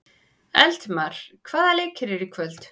Eldmar, hvaða leikir eru í kvöld?